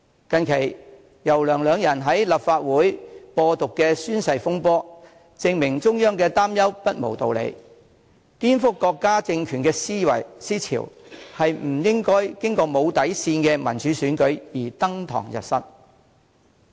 近期，游、梁二人在立法會"播獨"的宣誓風波，證明中央的擔憂不無道理，民主選舉不應無底線，讓顛覆國家政權的思潮登堂入室。